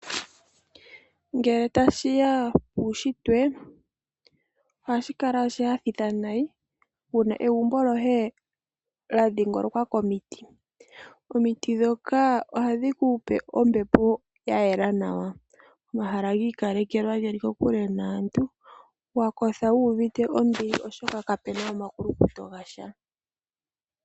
Ngele tashi ya puushitwe ohashi kala oshinyanyudhi wuna egumbo lyoye lya dhingolokwa komiti. Omiti ndhoka ohadhi kupe ombepo ya yela nawa. Omahala ogi ikalekelwa geli kokule naantu wa kotha wuuvite ombili oshoka kapena omakulukuto ga sha.